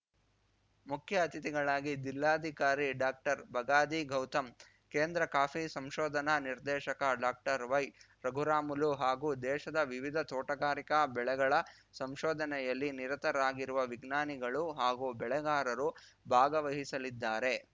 ಮುಖ್ಯ ಅತಿಥಿಗಳಾಗಿ ದಿಲ್ಲಾಧಿಕಾರಿ ಡಾಕ್ಟರ್ಬಗಾದಿ ಗೌತಮ್‌ ಕೇಂದ್ರ ಕಾಫಿ ಸಂಶೋಧನಾ ನಿರ್ದೇಶಕ ಡಾಕ್ಟರ್ ವೈರಘುರಾಮಲು ಹಾಗೂ ದೇಶದ ವಿವಿಧ ತೋಟಗಾರಿಕಾ ಬೆಳೆಗಳ ಸಂಶೋಧನೆಯಲ್ಲಿ ನಿರತರಾಗಿರುವ ವಿಜ್ಞಾನಿಗಳು ಹಾಗೂ ಬೆಳೆಗಾರರು ಭಾಗವಹಿಸಲಿದ್ದಾರೆ